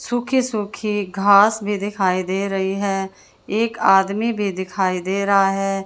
सूखी सूखी घास भी दिखाई दे रही है एक आदमी भी दिखाई दे रहा है।